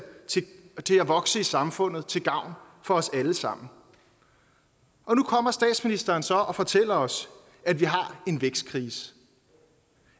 til at vokse i samfundet til gavn for os alle sammen nu kommer statsministeren så og fortæller os at vi har en vækstkrise